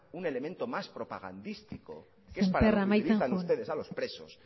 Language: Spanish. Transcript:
un elemento más propagandístico sémper amaitzen joan que es para lo que utilizan ustedes a los presos